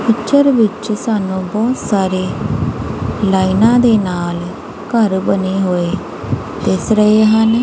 Picture ਵਿੱਚ ਸਾਨੂੰ ਬਹੁਤ ਸਾਰੇ ਲਾਈਨਾਂ ਦੇ ਨਾਲ ਘਰ ਬਣੇ ਹੋਏ ਦਿਸ ਰਹੇ ਹਨ।